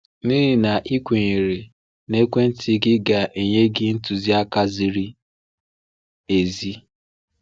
N’ihi na i kwenyere na ekwentị gị ga-enye gị ntụziaka ziri ezi.